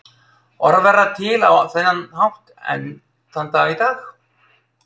Orð verða til á þennan hátt enn þann dag í dag.